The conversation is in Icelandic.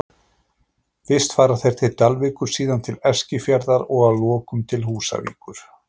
Fyrst fara þeir til Dalvíkur, síðan til Eskifjarðar og að lokum til Húsavíkur.